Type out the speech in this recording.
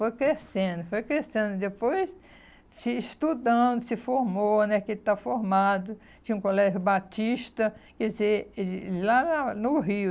Foi crescendo, foi crescendo, depois se estudando, se formou, né, que está formado, tinha um colégio Batista, quer dizer, lá no Rio.